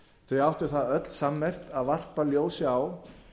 þau áttu það öll sammerkt að varpa ljósi á